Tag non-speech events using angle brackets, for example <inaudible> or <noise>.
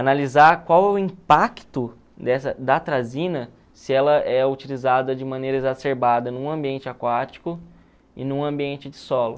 Analisar qual é o impacto <unintelligible> da atrazina se ela é utilizada de maneira exacerbada num ambiente aquático e num ambiente de solo.